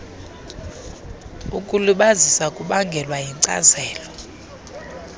ukulibazisa kubangelwa yinkcazelo